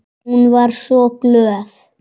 Hún var svo glöð.